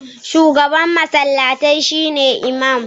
shugaban masallatai shine Iman